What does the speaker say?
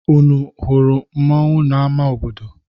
Unu hụrụ mmọnwụ n'ama obodo?